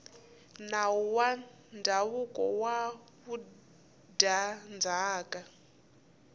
nawu wa ndzhavuko wa vudyandzhaka